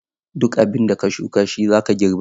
Duk abinda ka shuka shi zaka girba.